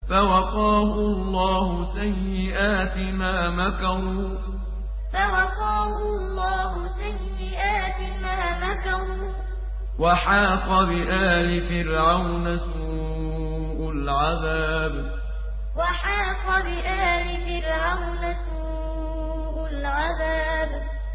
فَوَقَاهُ اللَّهُ سَيِّئَاتِ مَا مَكَرُوا ۖ وَحَاقَ بِآلِ فِرْعَوْنَ سُوءُ الْعَذَابِ فَوَقَاهُ اللَّهُ سَيِّئَاتِ مَا مَكَرُوا ۖ وَحَاقَ بِآلِ فِرْعَوْنَ سُوءُ الْعَذَابِ